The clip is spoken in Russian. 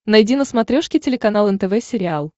найди на смотрешке телеканал нтв сериал